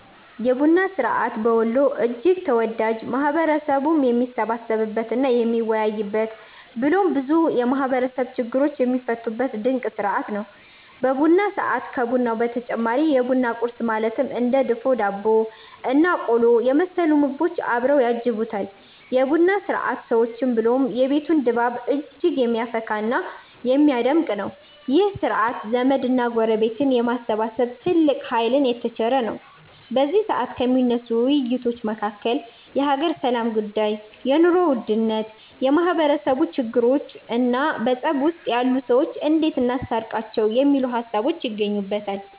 የቡና ስርዐት በወሎ እጅግ ተወዳጅ፣ ማህበረሰቡም የሚሰባሰብበት እና የሚወያይበት ብሎም ብዙ የማህበረሰቡ ችግሮች የሚፈቱበት ድንቅ ስርዐት ነው። በቡና ሰዐት ከቡናው በተጨማሪ የቡና ቁረስ ማለትም እንደ ድፎ ዳቦ እና ቆሎ የመሰሉ ምግቦች አብረው ያጅቡታል። የ ቡና ስርዐት ሰዎችን ብሎም የቤቱን ድባብ እጅግ የሚያፈካ እና የሚያደምቅ ነው። ይህ ስርዐት ዘመድ እና ጎረቤትን የማሰባሰብ ትልቅ ሃይልን የተቸረ ነው። በዚ ሰዐት ከሚነሱ ውይይቶች መካከል የሃገር ሰላም ጉዳይ፣ የ ኑሮ ውድነት፣ የማህበረሰቡ ችግሮቾ እና በፀብ ውስጥ ያሉ ሰዎችን እንዴት እናስታርቃቸው የሚሉት ሃሳቦች ይገኙበተል።